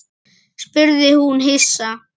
spurði hún hissa.